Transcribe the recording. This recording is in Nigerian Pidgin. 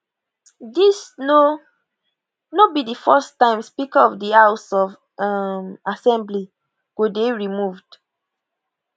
dis no no be di first time speaker of di house of um assembly go dey removed